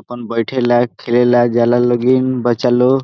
अपन बैठेला खेलेला जाला बच्चा लोग।